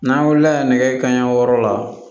N'an wulila nɛgɛ kanɲɛ wɔɔrɔ la